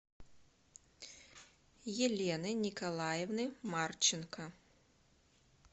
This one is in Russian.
елены николаевны марченко